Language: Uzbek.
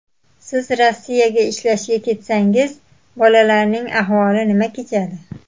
Siz Rossiyaga ishlashga ketsangiz bolalarning ahvoli nima kechadi?